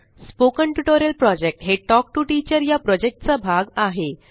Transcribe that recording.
spoken tutorial project हे talk to teacher चा भाग आहे